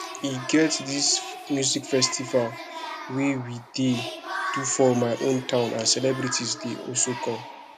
e get dis music festival wey we dey do for my town and celebrities go also come